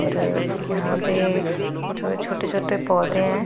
और यहां पे जो है छोटे छोटे पौधे हैं।